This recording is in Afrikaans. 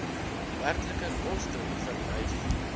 werklike koste verwys